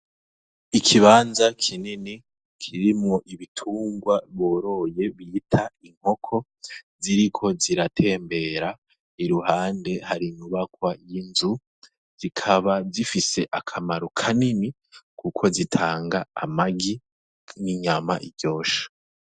Ikibanza kinini kirimwo ibitungwa boroye bita inkoko ziriko ziratembera iruhande hari inyubakwa y' inzu zikaba zifise akamaro kanini kuko zitanga amagi n' inyama ziryoshe.